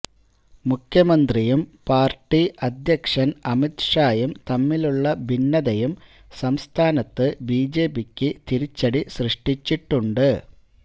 മുഖ്യമന്ത്രിയും പാർട്ടി അധ്യക്ഷൻ അമിത് ഷായും തമ്മിലുള്ള ഭിന്നതയും സംസ്ഥാനത്ത് ബിജെപിക്ക് തിരിച്ചടി സൃഷ്ടിച്ചിട്ടുണ്ട്